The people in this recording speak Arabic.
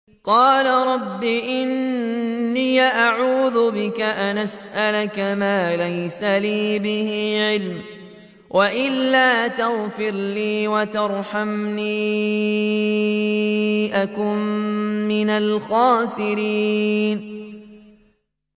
قَالَ رَبِّ إِنِّي أَعُوذُ بِكَ أَنْ أَسْأَلَكَ مَا لَيْسَ لِي بِهِ عِلْمٌ ۖ وَإِلَّا تَغْفِرْ لِي وَتَرْحَمْنِي أَكُن مِّنَ الْخَاسِرِينَ